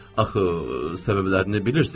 Axı səbəblərini bilirsiz.